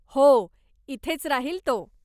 हो, इथेच राहील तो.